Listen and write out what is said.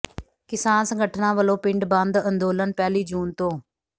ਕਿਸਾਨ ਸੰਗਠਨਾਂ ਵਲੋਂ ਪਿੰਡ ਬੰਦ ਅੰਦੋਲਨ ਪਹਿਲੀ ਜੂਨ ਤੋਂ